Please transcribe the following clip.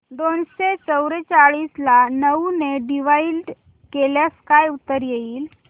दोनशे चौवेचाळीस ला नऊ ने डिवाईड केल्यास काय उत्तर येईल